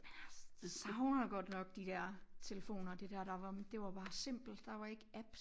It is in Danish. Men jeg savner godt nok de der telefoner det der der var det var bare simpelt der var ikke apps